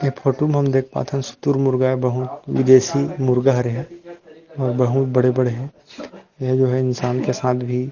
ए photo में हम देख पात हन शुतुरमुर्ग हे बहुत विदेशी मुर्गा हरे ह अउ बहुत बड़े -बड़े हे ए जो हे इंसान के साथ भी --